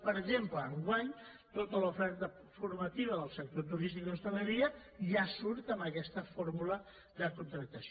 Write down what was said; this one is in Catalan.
per exemple enguany tota l’oferta formativa del sector turístic i d’hostaleria ja surt amb aquest fórmula de contractació